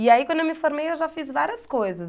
E aí, quando eu me formei, eu já fiz várias coisas.